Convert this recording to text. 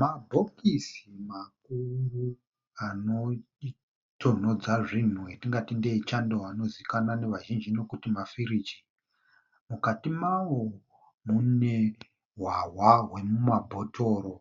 Mabhokisi makuru anotonhodza zvinhu etingati ndeechando anozivikanwa nevazhinji kuti mafiriji. Mukati mawo mune hwahwa hwemumabhotoro.